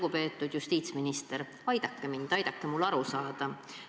Lugupeetud justiitsminister, aidake mind, aidake mul aru saada!